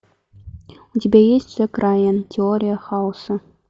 у тебя есть джек райан теория хаоса